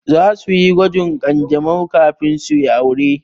Zasu yi gwajin ƙanjamau kafin su yi aure.